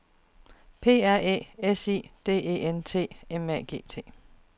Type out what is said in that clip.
P R Æ S I D E N T M A G T